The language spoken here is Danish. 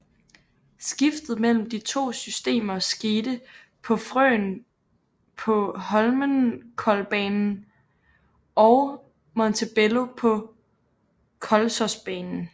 Skiftet mellem de to systemer skete på Frøen på Holmenkollbanen og Montebello på Kolsåsbanen